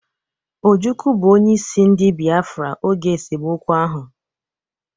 Ojukwu bụ onyeisi ndị biafra oge esemokwu ahụ